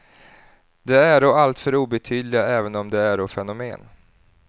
De äro alltför obetydliga, även om de äro fenomen.